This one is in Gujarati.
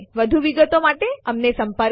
વધુ વિગતો માટે અમને સંપર્ક કરો